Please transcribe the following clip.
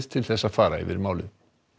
til að fara yfir málið